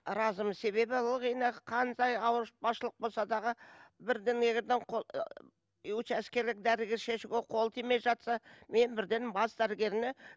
разымен себебі ылғи нақ қандай ауыртпашылық болса дағы бірдемеден қол учаскелік дәрігер шешуге қолы тимей жатса мен бірден бас дәрігеріне